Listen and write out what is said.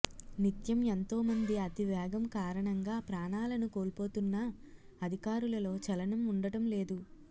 నిత్యం ఎంతోమంది అతివేగం కారణంగా ప్రాణా లను కోల్పోతున్నా అధికారులలో చలనం ఉండటం లేదు